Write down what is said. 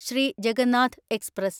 Shri Jagannath express